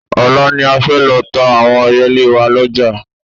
Ọ̀la ni a fẹ́ lọ ta àwọn ẹyẹlé wa lọ́jà